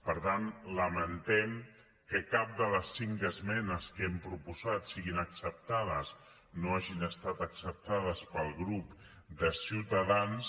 per tant lamentem que cap de les cinc esmenes que hem proposat siguin acceptades que no hagin estat acceptades pel grup de ciutadans